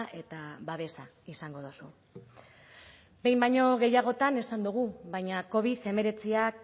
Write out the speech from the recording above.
eta babesa izango duzu behin baino gehiagotan esan dugu baina covid hemeretziak